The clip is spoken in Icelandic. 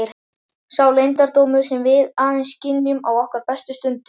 Sá leyndardómur sem við aðeins skynjum á okkar bestu stundum.